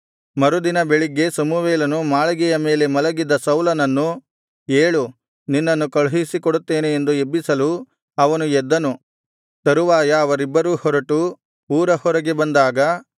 ಮರುದಿನ ಬೆಳಿಗ್ಗೆ ಸಮುವೇಲನು ಮಾಳಿಗೆಯ ಮೇಲೆ ಮಲಗಿದ್ದ ಸೌಲನನ್ನು ಏಳು ನಿನ್ನನ್ನು ಕಳುಹಿಸಿ ಕೊಡುತ್ತೇನೆ ಎಂದು ಎಬ್ಬಿಸಲು ಅವನು ಎದ್ದನು ತರುವಾಯ ಅವರಿಬ್ಬರೂ ಹೊರಟು ಊರ ಹೊರಗೆ ಬಂದಾಗ